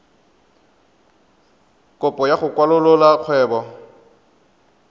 kopo ya go kwalolola kgwebo